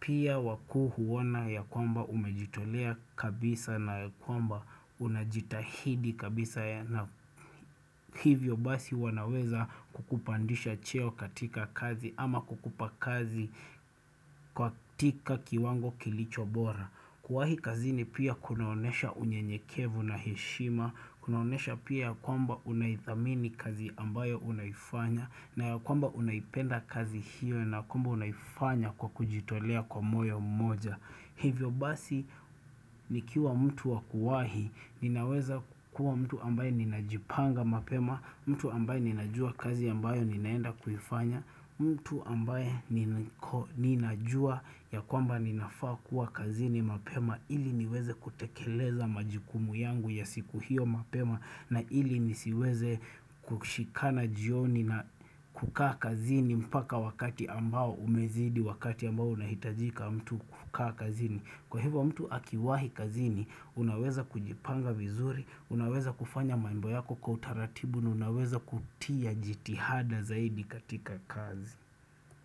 pia wakuu huona ya kwamba umejitolea kabisa na kwamba unajitahidi kabisa na hivyo basi wanaweza kukupandisha cheo katika kazi ama kukupa kazi katika kiwango kilicho bora. Kuwahi kazini pia kunaonesha unye nyekevu na heshima, kunaonesha pia kwamba unaithamini kazi ambayo unaifanya, na ya kwamba unaipenda kazi hiyo na kwamba unaifanya kwa kujitolea kwa moyo mmoja. Hivyo basi nikiwa mtu wakuwahi ninaweza kukua mtu ambaye ninajipanga mapema, mtu ambaye ninajua kazi ambayo ninaenda kuifanya, mtu ambaye ninajua ya kwamba ninafaa kuwa kazini mapema ili niweze kutekeleza majukumu yangu ya siku hiyo mapema na ili nisiweze kushikana jioni na kukaa kazini mpaka wakati ambao umezidi wakati ambao unahitajika mtu kukaa kazini. Kwa hivyo mtu akiwahi kazini, unaweza kujipanga vizuri, unaweza kufanya mambo yako kwa utaratibu na unaweza kutia jitihada zaidi katika kazi.